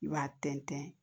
I b'a tɛntɛn